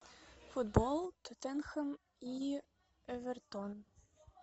футбол тоттенхэм и эвертон